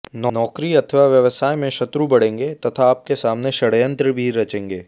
नौकरी अथवा व्यवसाय में शत्रु बढ़ेंगे तथा आप के सामने षड़यंत्र भी रचेंगे